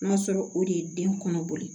N'a sɔrɔ o de ye den kɔnɔ boli